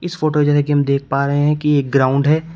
इस फोटो जने की हम देख पा रहे है कि एक ग्राउंड है।